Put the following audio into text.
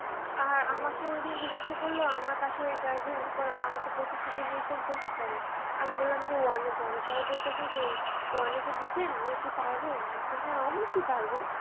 আর আমাকে ওইদিন জিজ্ঞাসা করল আমার পাশের এক guardian আমাকে বলতেসে যে আমার মেয়ে কোন class পড়। আমি বললাম যে one এ পড়ে। পরে বলতাছে যে, one যে দিয়েছেন মেয়ে কি পারবে? আমি বলছি হ্যাঁ অবশ্যই পারবে।